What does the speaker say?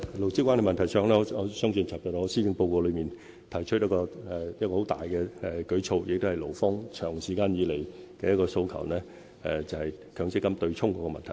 勞資關係問題上，我在昨天發表的施政報告中，已提出一個很大的舉措，亦是勞方長期以來的訴求，就是強積金對沖的問題。